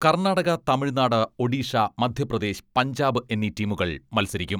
കർണാടക, തമിഴ്നാട്, ഒഡിഷ, മധ്യപ്രദേശ് പഞ്ചാബ് എന്നീ ടീമുകൾ മത്സരിക്കും.